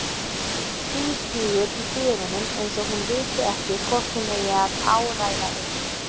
Tvístígur í dyrunum eins og hún viti ekki hvort hún eigi að áræða inn.